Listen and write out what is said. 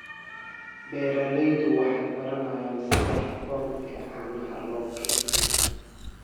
Beeraleydu waxay baranayaan sida habboon ee caanaha loo kaydiyo.